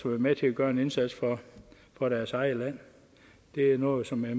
med til at gøre en indsats for deres eget land det er noget som jeg